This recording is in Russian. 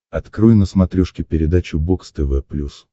открой на смотрешке передачу бокс тв плюс